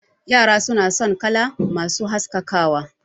Yara suna son kala masu haskakawa